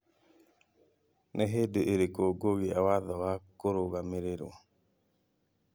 Nĩ hĩndĩ ĩrĩkũ ngogĩa watho wa kũrũgamĩrĩrũo